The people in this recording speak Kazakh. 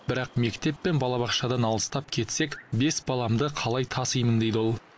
бірақ мектеп пен балабақшадан алыстап кетсек бес баламды қалай тасимын дейді ол